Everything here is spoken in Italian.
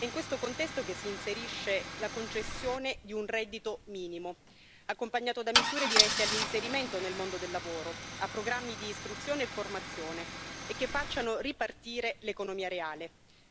È in questo contesto che si inserisce la concessione di un reddito minimo, accompagnato da misure dirette all'inserimento nel mondo del lavoro, a programmi di istruzione e formazione e che facciano ripartire l'economia reale.